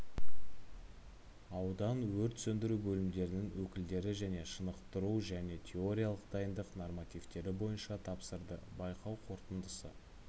аудан өрт сөндіру бөлімдерінің өкілдері дене шынықтыру және теориялық дайындық нормативтері бойынша тапсырды байқау қорытындысы